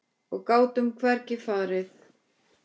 Og gátum hvergi farið.